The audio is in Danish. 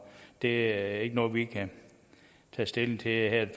det er ikke noget vi kan tage stilling til her